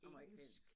Amerikansk